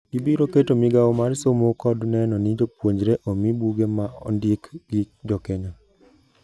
Gibiro keto migao mar somo kod neno ni jopuonjre omii buge ma ondik gi jokenya.